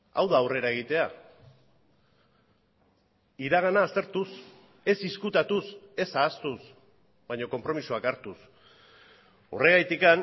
hau da aurrera egitea iragana aztertuz ez ezkutatuz ez ahaztuz baina konpromisoak hartuz horregatik